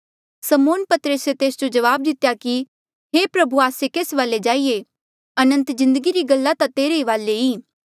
समौन पतरसे तेस जो जवाब दितेया कि हे प्रभु आस्से केस वाले जाईये अनंत जिन्दगी री गल्ला ता तेरे ही वाले ई